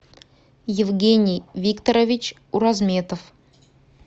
евгений викторович уразметов